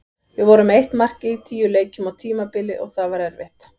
Við vorum með eitt mark í tíu leikjum á tímabili og það var erfitt.